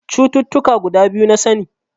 Cututtuka guda biyu na sani.